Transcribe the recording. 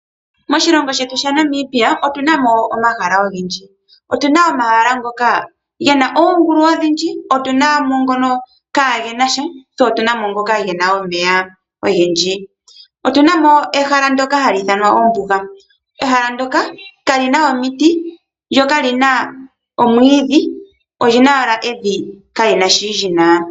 Moshilongo shetu sha Namibia otu na mo omahala ogendji, otu na omahala gena oongulu odhindji. Tse otu na mo ngono kaagena sha, tse otu na mo ngono gena omeya ogendji. Otu na mo ehala ndoka hali ithanwa ombuga, ehala ndoka kali na omiti, lyo kali na omwiidhi. Olyi na owala evi ka lina shoka lyina.